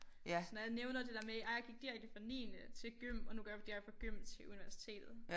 Så når jeg nævner det der med ej jeg gik direkte fra niende til gym og nu går jeg direkte fra gym til universitetet